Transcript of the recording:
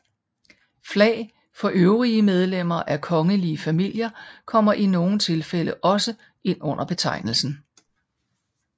Flag for øvrige medlemmer af kongelige familier kommer i nogle tilfælde også ind under betegnelsen